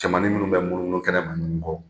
Camannin minnu bɛ munumunu kɛnɛma ɲɔgɔn kɔ